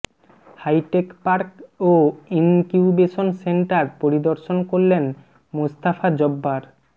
hi tech park ও incubation centre পরিদর্শন করলেন মোস্তাফা জব্বার